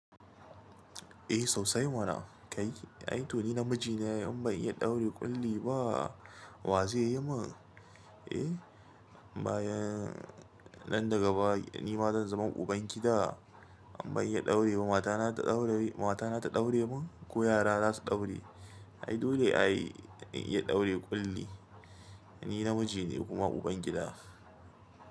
Eh, sosai mana. Kai, ai to ni namiji ne ai, in ban iya ɗaure ƙulli ba, wa zai yi min? Eh, bayan nan daga baya ni ma zan zama uban gida, amma in ya ɗaure ba matana ta ɗaure, matana ta ɗaure mun ko yara za su ɗaure. Ai dole ai in iya ɗaure ƙulli. Ni namiji ne kuma uban gida.